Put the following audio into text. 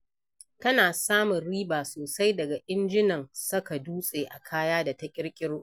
Tana samun riba sosai daga injunan saka dutse a kaya da ta ƙirƙiro.